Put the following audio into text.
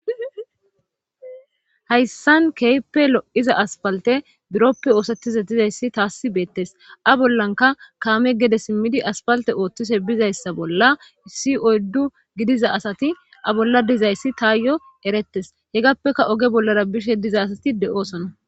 Hayssan keype lo7iza aspalte buroppe oosettize dizayssi taassi beettes a bollanka kaame gede simmidi aspalte ooththise bizayssa bolla si oyddu gidiza asati a bolla dizayssi taa yo erettes hegappeka oge bollara bishe diza asati de7oosona.